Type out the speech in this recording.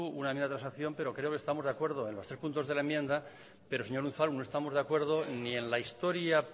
una enmienda de transacción pero creo que estamos de acuerdo en los tres puntos de la enmienda pero señor unzalu no estamos de acuerdo ni en la historia